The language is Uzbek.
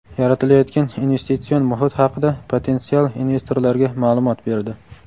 yaratilayotgan investitsion muhit haqida potensial investorlarga maʼlumot berdi.